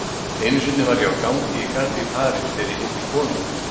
Einu sinni var ég á gangi í garði í París þegar ég hitti konu.